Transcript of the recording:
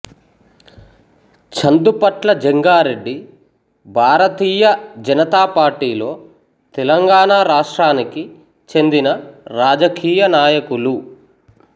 చందుపట్ల జంగారెడ్డి భారతీయ జనతా పార్టీలో తెలంగాణ రాష్ట్రానికి చెందిన రాజకీయనాయకులు